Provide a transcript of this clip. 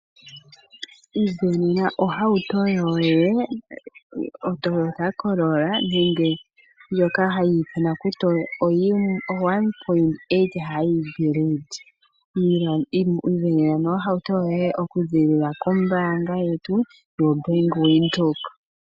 Ivenena ohauto yoye oToyota Corolla nenge ndjoka hayi ithanwa kutya o1.8 Hybrid. Ivenena nduno ohauto yoye oku ziilila kOmbaanga yetu yaVenduka.